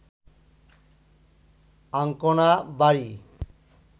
Ancona, বারি